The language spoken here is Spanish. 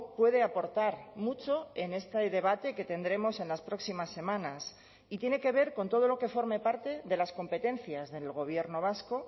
puede aportar mucho en este debate que tendremos en las próximas semanas y tiene que ver con todo lo que forme parte de las competencias del gobierno vasco